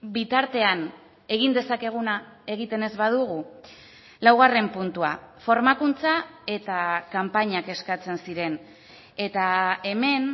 bitartean egin dezakeguna egiten ez badugu laugarren puntua formakuntza eta kanpainak eskatzen ziren eta hemen